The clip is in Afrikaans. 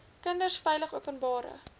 kinders veilig openbare